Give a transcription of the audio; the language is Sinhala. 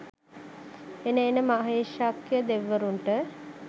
එන එන මහේශාක්‍යය දෙවිවරුන්ට